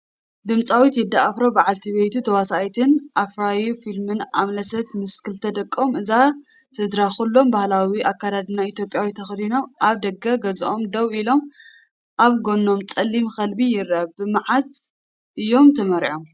ድምጻዊ ቴዲ ኣፍሮ፡ በዓልቲ ቤቱ፡ ተዋሳኢትን ኣፍራዪ ፊልምን ኣምለሰት ፡ ምስ ክልተ ደቆም። እዛ ስድራ ኩሎም ባህላዊ ኣከዳድና ኢትዮጵያ ተኸዲኖም፣ ኣብ ደገ ገዝኦም ደው ኢሎም፣ ኣብ ጎኖም ጸሊም ከልቢ ይረአ፣ ብማዓዝ እዮም ተመርዒዮም?